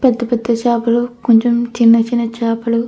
పెద్ద పెద్ద చేపలు కొంచెం చిన్న చిన్న చేపలు --